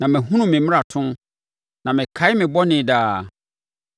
Na mahunu me mmarato, na mekae me bɔne daa.